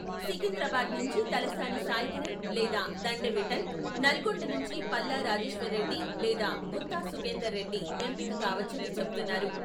సికింద్రాబాద్ నుంచి తలసాని సాయికిరణ్ లేదా దండె విఠల్, నల్గొండ నుంచి పల్లా రాజేశ్వర్రెడ్డి లేదా గుత్తా సుఖేందర్రెడ్డి ఎంపిక కావచ్చని చెప్తున్నారు.